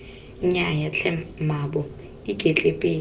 nnyaya tlhe mmaabo iketle pele